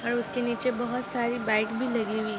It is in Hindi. और उसके नीचे बहुत सारी बाइक भी लगी हुई--